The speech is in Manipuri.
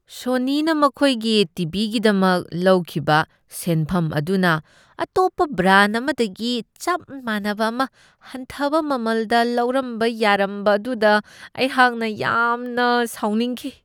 ꯁꯣꯅꯤꯅ ꯃꯈꯣꯏꯒꯤ ꯇꯤ. ꯚꯤ. ꯒꯤꯗꯃꯛ ꯂꯧꯈꯤꯕ ꯁꯦꯟꯐꯝ ꯑꯗꯨꯅ ꯑꯇꯣꯞꯄ ꯕ꯭ꯔꯥꯟ ꯑꯃꯗꯒꯤ ꯆꯞ ꯃꯥꯟꯅꯕ ꯑꯃ ꯍꯟꯊꯕ ꯃꯃꯜꯗ ꯂꯧꯔꯝꯕ ꯌꯥꯔꯝꯕ ꯑꯗꯨꯗ ꯑꯩꯍꯥꯛꯅ ꯌꯥꯝꯅ ꯁꯥꯎꯅꯤꯡꯈꯤ ꯫